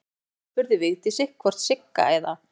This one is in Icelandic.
Hann hringdi og spurði Vigdísi hvort Sigga eða